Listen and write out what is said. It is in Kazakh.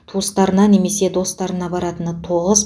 туыстарына немесе достарына баратына тоғыз